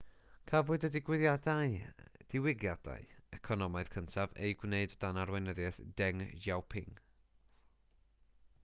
cafodd y diwygiadau economaidd cyntaf eu gwneud o dan arweinyddiaeth deng xiaoping